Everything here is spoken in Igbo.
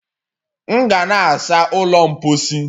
M ga na-asa ụlọ mposi